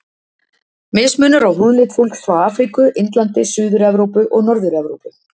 Mismunur á húðlit fólks frá Afríku, Indlandi, Suður-Evrópu og Norður-Evrópu.